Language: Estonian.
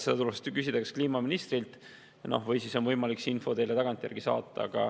Seda tuleks küsida kas kliimaministrilt või siis on võimalik see info teile tagantjärgi saata.